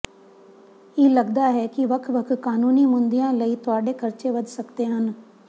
ਇਹ ਲਗਦਾ ਹੈ ਕਿ ਵੱਖ ਵੱਖ ਕਾਨੂੰਨੀ ਮੁੱਦਿਆਂ ਲਈ ਤੁਹਾਡੇ ਖਰਚੇ ਵਧ ਸਕਦੇ ਹਨ